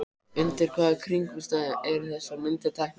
En undir hvaða kringumstæðum eru þessar myndir teknar?